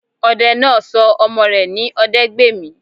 Odẹ náà sọ ọmọ rẹ̀ ní Odẹgbèmí